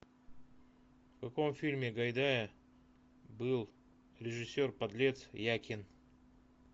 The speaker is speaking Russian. в каком фильме гайдая был режиссер подлец якин